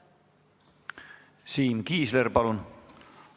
Siim Kiisler, palun!